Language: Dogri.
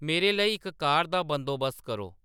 मेरे लेई इक कार दा बंदोबस्त करो